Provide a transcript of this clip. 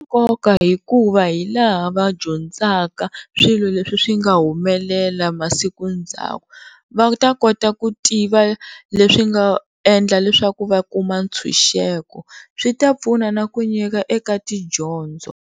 Nkoka hikuva hilaha va dyondzaka swilo leswi swi nga humelela masiku ndzhaku, va ta kota ku tiva leswi nga endla leswaku va kuma ntshunxeko swi ta pfuna na ku nyika eka tidyondzo.